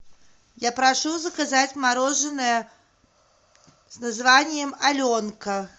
я прошу заказать мороженое с названием аленка